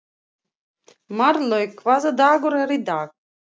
Marlaug, hvaða dagur er í dag?